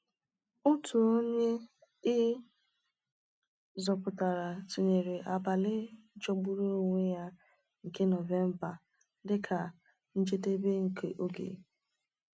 Otu onye e zọpụtara tụnyere abalị jọgburu onwe ya nke Nọvemba dị ka “njedebe nke oge.”